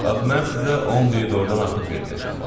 Bax, mən sizə 10 ley doğrudan artıq verməyəcəm.